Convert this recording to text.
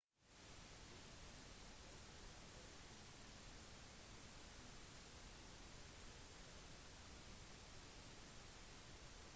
ring inngikk også forlik med et konkurrerende sikkerhetsselskap adt-konsernet